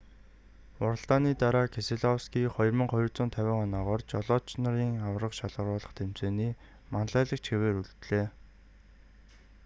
уралдааны дараа кеселовский 2,250 оноогоор жолооч нарын аварга шалгаруулах тэмцээний манлайлагч хэвээр үлдлээ